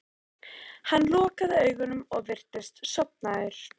Hann lokaði augunum og virtist sofnaður.